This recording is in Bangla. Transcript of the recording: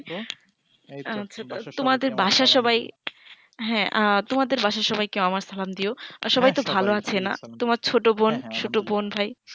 তোমাদের বাসার সবাই তোমাদের বাসার সবাই কে আমার সালাম দিও আর সবাই তো ভালো আছে না তোমার ছোট বোন ভাই